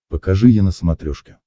покажи е на смотрешке